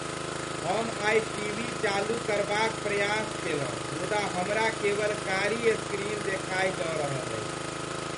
हम आइ टीवी चालू करबाक प्रयास केलहुँ मुदा हमरा केवल कारी स्क्रीन देखाई दऽ रहल अछि।